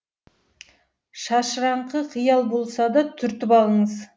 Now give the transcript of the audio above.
шашыраңқы қиял болса да түртіп алыңыз